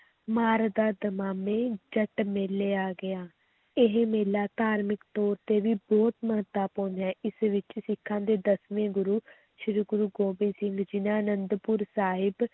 ਮਾਰਦਾ ਦਮਾਮੇ ਜੱਟ ਮੇਲੇ ਆ ਗਿਆ, ਇਹ ਮੇਲਾ ਧਾਰਮਕ ਤੌਰ 'ਤੇ ਵੀ ਬਹੁਤ ਮਹੱਤਵਪੂਰਨ ਹੈ, ਇਸ ਵਿੱਚ ਸਿੱਖਾਂ ਦੇ ਦਸਵੇਂ ਗੁਰੂ ਸ੍ਰੀ ਗੁਰੂ ਗੋਬਿੰਦ ਸਿੰਘ ਜੀ ਨੇ ਅਨੰਦਪੁਰ ਸਾਹਿਬ